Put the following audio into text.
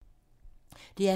DR P2